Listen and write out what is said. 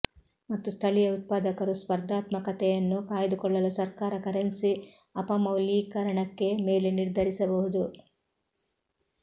ಮತ್ತು ಸ್ಥಳೀಯ ಉತ್ಪಾದಕರು ಸ್ಪರ್ಧಾತ್ಮಕತೆಯನ್ನು ಕಾಯ್ದುಕೊಳ್ಳಲು ಸರ್ಕಾರ ಕರೆನ್ಸಿ ಅಪಮೌಲ್ಯೀಕರಣಕ್ಕೆ ಮೇಲೆ ನಿರ್ಧರಿಸಬಹುದು